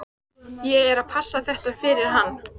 Ég er að passa þetta fyrir hann.